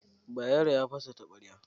Bayero ya fasa taɓarya.